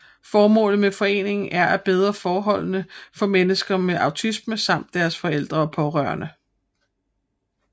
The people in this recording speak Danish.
Formålet med foreningen er at bedre forholdene for mennesker med autisme samt deres forældre og pårørende